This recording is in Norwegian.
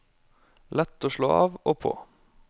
Lett å slå av og på.